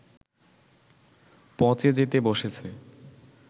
পঁচে যেতে বসেছে